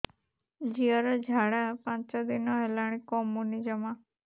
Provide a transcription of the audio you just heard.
ଝିଅର ଝାଡା ପାଞ୍ଚ ଦିନ ହେଲାଣି କମୁନି ଜମା